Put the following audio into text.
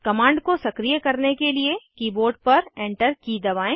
command को सक्रिय करने के लिए कीबोर्ड पर Enter की दबाएं